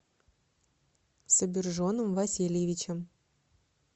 собиржоном васильевичем